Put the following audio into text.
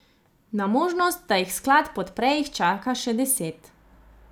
Na možnost, da jih sklad podpre, jih čaka še deset.